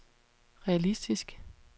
realistisk